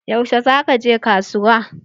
Yaushe za ka je kasuwa?